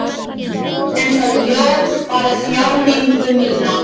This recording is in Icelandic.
En það jók bara þjáningu mína.